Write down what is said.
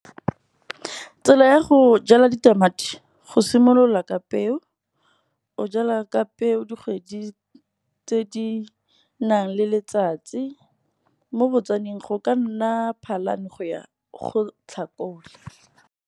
Tsela ya go jala ditamati go simolola ka peo, o jala ka peo dikgwedi tse di nang le letsatsi, mo botswaneng go ka nna phalane go ya go tlhakole.